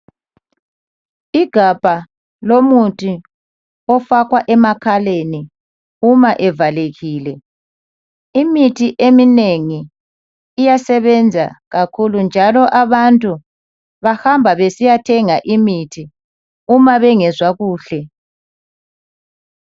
Igabha lomuthi ofakwa emakhaleni uma evalekile, imithi eminengi iyasebenza kakhulu njalo abantu bahamba besiya thenga imithi uma bengezwa kuhle.